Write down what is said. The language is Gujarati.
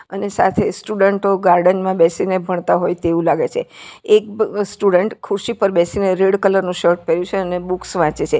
અને સાથે સ્ટુડન્ટો ગાર્ડન માં બેસીને ભણતા હોય તેવુ લાગે છે એક સ્ટુડન્ટ ખૂરશી પર બેસીને રેડ કલર નું શર્ટ પેર્યું છે અને બુક્સ વાંચે છે.